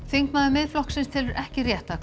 þingmaður Miðflokksins telur ekki rétt að